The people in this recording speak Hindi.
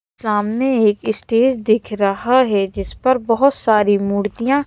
सामने एक स्टेज दिख रहा है जिस पर बहोत सारी मूर्तियां--